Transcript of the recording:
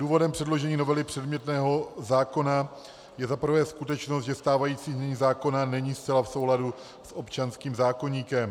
Důvodem předložení novely předmětného zákona je za prvé skutečnost, že stávající znění zákona není zcela v souladu s občanským zákoníkem.